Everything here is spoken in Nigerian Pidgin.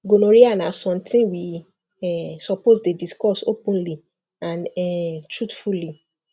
gonorrhea na something we um suppose dey discuss openly and um truthfully